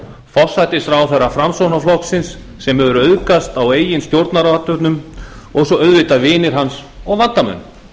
forsætisráðherra framsóknarflokksins sem hefur auðgast á eigin stjórnarathöfnum og svo auðvitað vinir hans og vandamenn